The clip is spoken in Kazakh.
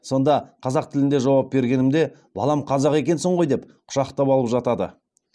сонда қазақ тілінде жауап бергенімде балам қазақ екенсің ғой деп құшақтап алып жатады